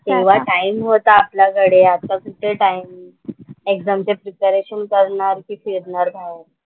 एवढा टाइम होता आपल्याकडे. आता कुठे टाइम? एक्झामचं प्रिपरेशन करणार कि फिरणार बाहेर? ना